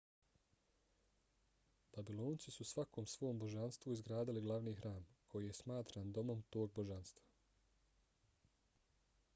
babilonci su svakom svom božanstvu izgradili glavni hram koji je smatran domom tog božanstva